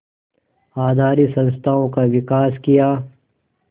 आधारित संस्थाओं का विकास किया